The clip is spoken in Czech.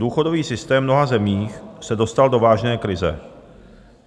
Důchodový systém v mnoha zemích se dostal do vážné krize.